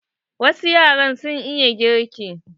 Wasu yaran sun iya girki.